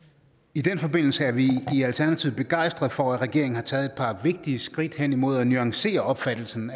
i den forbindelse er vi i alternativet begejstrede for at regeringen har taget et par vigtige skridt hen imod at nuancere opfattelsen